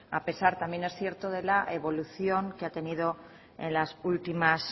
a pesar también es cierto de la evolución que ha tenido en las últimas